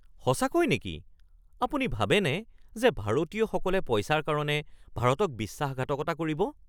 সঁচাকৈ নেকি? আপুনি ভাবেনে যে ভাৰতীয়সকলে পইচাৰ কাৰণে ভাৰতক বিশ্বাসঘাতকতা কৰিব?